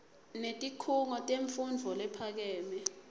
netikhungo temfundvo lephakeme